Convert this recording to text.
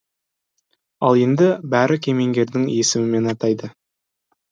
ал енді бәрі кемеңгердің есімімен атайды